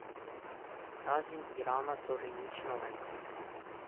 Razen Irana torej nič novega.